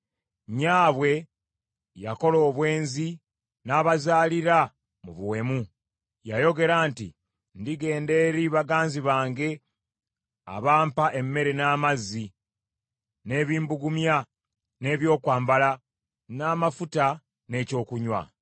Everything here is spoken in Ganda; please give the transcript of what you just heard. Nnyabwe yakola obwenzi, n’abazaalira mu buwemu. Yayogera nti, “Ndigenda eri baganzi bange abampa emmere n’amazzi, n’ebimbugumya n’ebyokwambala, n’amafuta n’ekyokunywa.”